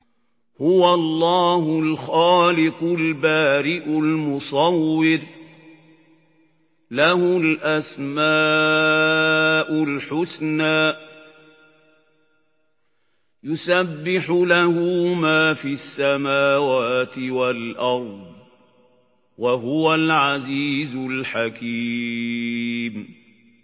هُوَ اللَّهُ الْخَالِقُ الْبَارِئُ الْمُصَوِّرُ ۖ لَهُ الْأَسْمَاءُ الْحُسْنَىٰ ۚ يُسَبِّحُ لَهُ مَا فِي السَّمَاوَاتِ وَالْأَرْضِ ۖ وَهُوَ الْعَزِيزُ الْحَكِيمُ